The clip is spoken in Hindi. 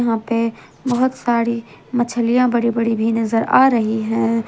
वा पे बहोत सारी मछलियां बड़ी बड़ी भी नजर आ रही है।